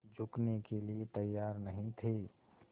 झुकने के लिए तैयार नहीं थे